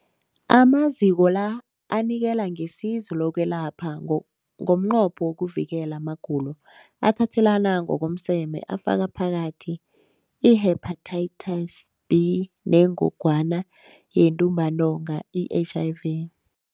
Amaziko la anikela ngesizo lokwelapha ngomnqopho wokuvikela amagulo athathelana ngokomseme afaka phakathi i-Hepatitis B neNgogwana yeNtumbantonga, i-HIV.